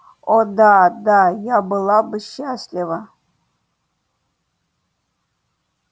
о да да я была бы счастлива